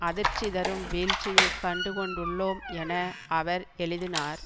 அதிர்ச்சி தரும் வீழ்ச்சியை கண்டு கொண்டுள்ளோம் என அவர் எழுதினார்